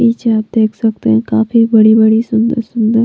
पीछे आप देख सकते हैं काफी बड़ी-बड़ी सुंदर--